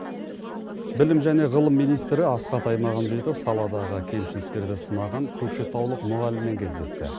білім және ғылым министрі асхат аймағамбетов саладағы кемшіліктерді сынаған көкшетаулық мұғаліммен кездесті